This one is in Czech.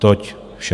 Toť vše.